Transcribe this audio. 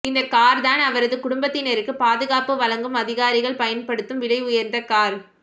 இந்த கார் தான் அவரது குடும்பத்தினருக்கு பாதுகாப்பு வழங்கும் அதிகாரிகள் பயன்படுத்தும் விலை உயர்ந்த கார்